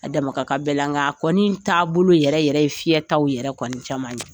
A dama ka kan bɛɛ la ŋa a kɔni taabolo yɛrɛ yɛrɛ ye fiyɛtaw yɛrɛ kɔni caman ye.